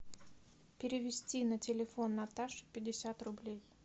перевести на телефон наташи пятьдесят рублей